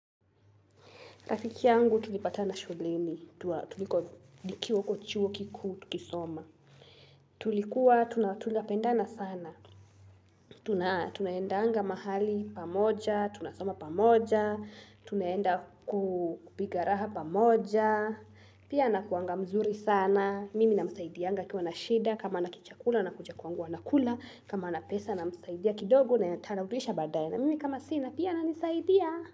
Rafiki yangu tulipatana shuleni, tukiwa huko chuo kikuu tukisoma. Tulikuwa tunapendana sana, tunaenda anga mahali pamoja, tunasoma pamoja, tunaenda kupiga raha pamoja, pia nakuanga mzuri sana. Mimi namsaidiaga akiwa na shida, kama hana kichakula anakuja kwangu anakula, kama hana pesa namsaidia kidogo naye atarudisha baadae na mimi kama sina, pia ananisaidia.